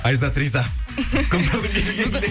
айзат риза қыздардың келгеніне